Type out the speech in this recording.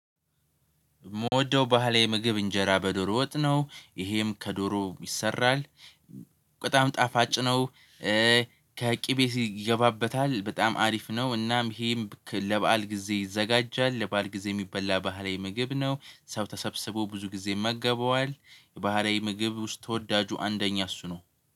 ምወደው ባህሌ ምግብ እንጀራ በዶሮ ወጥ ነው ይሄም ከዶሮ ይሰራል በጣም ጣፋጭ ነው። ከቂቤ ይገባበታል በጣም አሪፍ ነው። እናም ይሄም ለበአል ጊዜ ይዘጋጃል ለበአል ጊዜ የሚበላ ባህላዊ ምግብ ነው ሰው ተሰብስቦ ብዙ ጊዜ ይመገበዋል። ባህላዊ ምግብ ውስጥ ተወዳጁ አንደኛ እሱ ነው